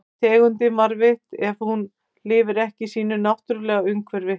Er tegundin varðveitt ef hún lifir ekki í sínu náttúrulega umhverfi?